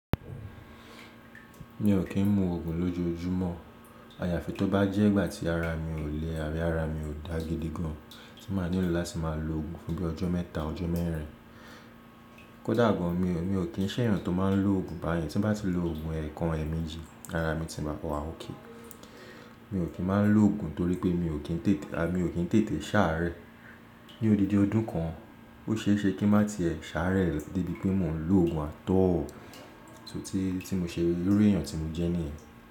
Mi ò kí ń mu òògùn lójoójúmọ́. Àyàfi tó bá jẹ́ ìgbà tí ara mi ò le àbí ara mi ò dá gidi gan, tí mà nílò láti má lo òògùn fún bíi ọjọ́ mẹ́ta, ọjọ́ mẹ́rin. Kódà gan mi ò kín ṣè èèyàn tó má ń lo òògùn báyen, tí n bá ti lo òògùn ẹ̀ẹ̀kan ẹ̀ẹ̀méjì ara mi ti máa wa okay. Mi ò kín má ń lo òògùn torí pé mi ò kín tètè ṣàárẹ̀. Ni òdidi ọdún kan, ó ṣeéṣe kí n má ti ẹ ṣàárẹ̀ débi pé mó ń lo òògùn at all, so, eru èèyàn tí mo jẹ́ níyẹn.